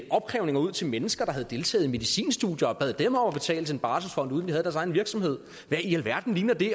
opkrævninger ud til mennesker der havde deltaget i medicinstudier og bad dem om at betale til en barselsfond uden havde deres egen virksomhed hvad i alverden ligner det